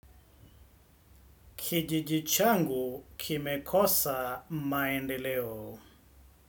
Kijiji changu kimekosa maendeleo.